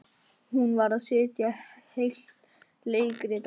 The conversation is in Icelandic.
Hún varð að setja heilt leikrit á svið.